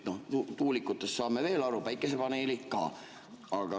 Tuulikutest saame veel aru, ent päikesepaneelid ka.